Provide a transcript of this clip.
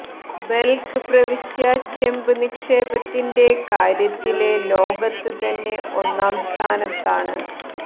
ബല്ഖ് പ്രവിശ്യ ചെമ്പ് നിക്ഷേപത്തിന്റെ കാര്യത്തില് ലോകത്ത് തന്നെ ഒന്നാം സ്ഥാനത്താണ്